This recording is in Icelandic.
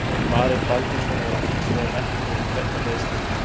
Marel Baldvinsson var hinsvegar ekki með vegna meiðsla.